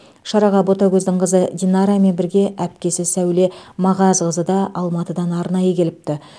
шараға ботагөздің қызы динарамен бірге әпкесі сәуле мағазқызы да алматыдан арнайы келіпті